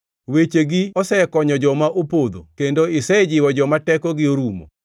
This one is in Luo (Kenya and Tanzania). Wechegi osekonyo joma opodho; kendo isejiwo joma tekogi orumo.